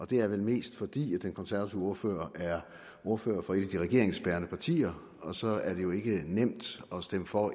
det er vel mest fordi den konservative ordfører er ordfører for et af de regeringsbærende partier og så er det jo ikke nemt at stemme for